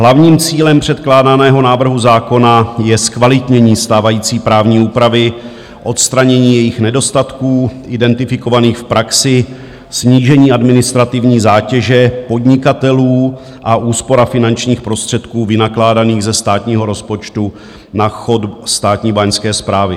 Hlavním cílem předkládaného návrhu zákona je zkvalitnění stávající právní úpravy, odstranění jejích nedostatků identifikovaných v praxi, snížení administrativní zátěže podnikatelů a úspora finančních prostředků vynakládaných ze státního rozpočtu na chod státní báňské správy.